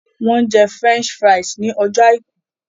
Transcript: Wọ́n jẹ French fries ní ọjọ́ àìkú